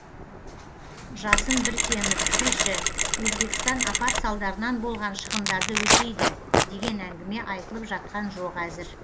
жасын біркенов тілші өзбекстан апат салдарынан болған шығындарды өтейді деген әңгіме айтылып жатқан жоқ әзір